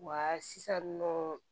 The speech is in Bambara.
Wa sisan nɔ